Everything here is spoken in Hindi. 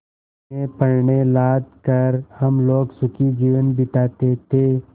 में पण्य लाद कर हम लोग सुखी जीवन बिताते थे